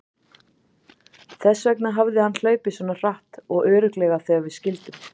Þess vegna hafði hann hlaupið svona hratt og örugglega þegar við skildum.